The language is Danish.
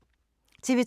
TV 2